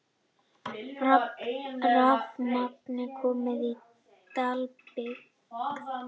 Rafmagn komið á í Dalabyggð